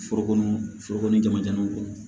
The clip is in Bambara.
Forokɔnɔ foro ni jamu kɔnɔ